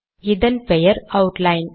இதன் பெயர் அவுட்லைன்